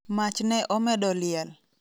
Mach ne omedo liel.